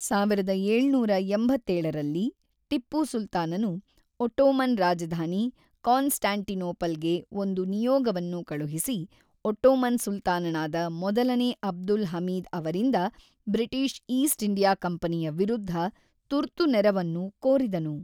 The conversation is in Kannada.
ಸಾವಿರದ ಏಳುನೂರ ಎಂಬತ್ತೇಳರಲ್ಲಿ, ಟಿಪ್ಪು ಸುಲ್ತಾನನು ಒಟ್ಟೋಮನ್ ರಾಜಧಾನಿ ಕಾನ್‌ಸ್ಟಾಂಟಿನೋಪಲ್‌ಗೆ ಒಂದು ನಿಯೋಗವನ್ನು ಕಳುಹಿಸಿ, ಒಟ್ಟೋಮನ್ ಸುಲ್ತಾನನಾದ ಮೊದಲನೇ ಅಬ್ದುಲ್ ಹಮೀದ್ ಅವರಿಂದ ಬ್ರಿಟಿಷ್ ಈಸ್ಟ್ ಇಂಡಿಯಾ ಕಂಪನಿಯ ವಿರುದ್ಧ ತುರ್ತು ನೆರವನ್ನು ಕೋರಿದನು.